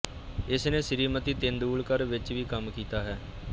ਇਸਨੇ ਸ਼੍ਰੀਮਤੀ ਤੇਂਦੁਲਕਰ ਵਿਚ ਵੀ ਕੰਮ ਕੀਤਾ ਹੈ